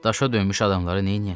Daşa döymüş adamlara neyləyəsən?